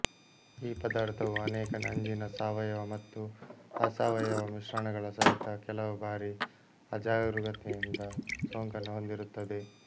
ಈ ಪದಾರ್ಥವು ಅನೇಕ ನಂಜಿನ ಸಾವಯವ ಮತ್ತು ಅಸಾವಯವ ಮಿಶ್ರಣಗಳ ಸಹಿತ ಕೆಲವು ಬಾರಿ ಅಜಾಗರೂಕತೆಯಿಂದ ಸೋಂಕನ್ನು ಹೊಂದಿರುತ್ತದೆ